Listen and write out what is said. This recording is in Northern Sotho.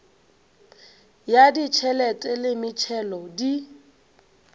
ya ditšhelete le metšhelo di